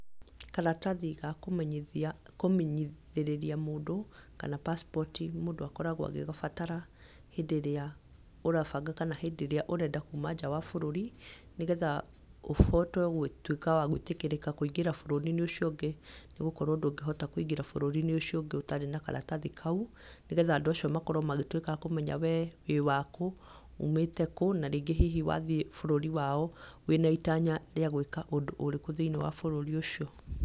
Karatathi ga kũmenyithĩrĩria mũndũ kana pacipoti mũndũ akoragwo agĩgabatara hĩndĩ ĩrĩa ũrabanga kana hĩndĩ ĩrĩa ũrenda kuma nja wa bũrũri, nĩgetha ũhote wa gwĩtĩkĩrĩka kũingĩra bũrũri-inĩ ucio ũngĩ nĩgũkorwo ndũngĩhota kũingĩra bũrũri-inĩ ũcio ũngĩ ũtarĩ na karatathi kau. Nĩgetha andũ acio makorwo magĩtuĩka akũmenya wee wĩ wakũ, ũmĩte kũũ na rĩngĩ hihi wathiĩ bũrũri wao wĩ na itanya rĩa gwĩka ũndũ ũrĩkũ thĩiniĩ wa bũrũri ũcio.